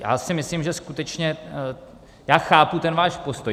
Já si myslím, že skutečně... já chápu ten váš postoj.